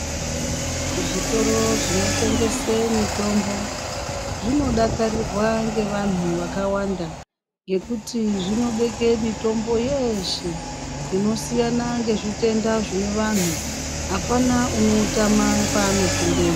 Zvitoro zvinotengese mitombo zvinodakarirwa ngevantu vakawanda ngekuti zvinobeke mitombo yeshe inosiyana ngezvitenda zvineantu apana unoutama paano pindemwo.